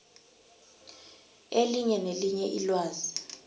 elinye nelinye ilwazi